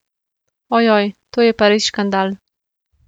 Ojoj, to je pa res škandal.